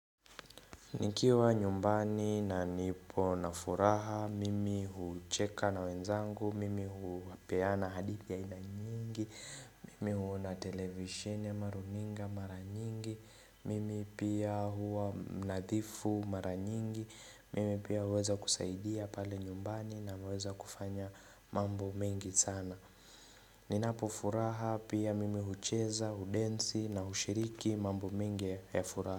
Nikiwa nyumbani na nipo na furaha, mimi hucheka na wenzangu, mimi hupeana hadithi aina nyingi, mimi huona televishini ama runinga mara nyingi, mimi pia huwa mnadhifu mara nyingi, mimi pia huweza kusaidia pale nyumbani na huweza kufanya mambo mingi sana. Ninapofuraha pia mimi hucheza, udensi na hushiriki mambo mingi ya furaha.